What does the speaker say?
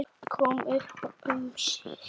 Kom upp um sig.